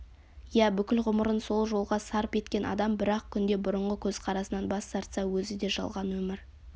иә бүкіл ғұмырын сол жолға сарп еткен адам бір-ақ күнде бұрынғы көзқарасынан бас тартса өзі де жалған өмір